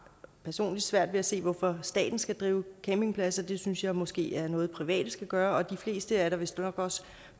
personlig svært ved at se hvorfor staten skal drive campingpladser det synes jeg måske er noget private skal gøre de fleste er da vistnok også